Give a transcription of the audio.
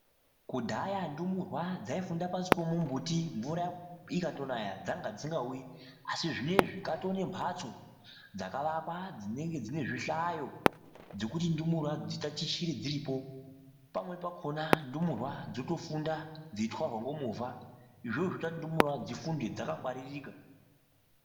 Kudhaya ndumurwa dzaifunda pashi pemumbuti. Mvura ikatonaya dzanga dzisingauyi. Asi zvinezvi dzataa nemhatso dzakavakwa dzinenge dzine zvihlayo dzekuti ndumurwa dzitatichire dziripo. Pamweni pakhona ndumurwa dzotofunda dzeitwarwa ngomovha. Izvozvo zvinoita kuti ndumurwa dzifunde dzakangwaririka.